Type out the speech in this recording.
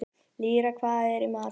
Lýra, hvað er í matinn?